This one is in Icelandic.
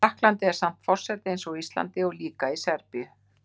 Í Frakklandi er samt forseti eins og á Íslandi og líka í Serbíu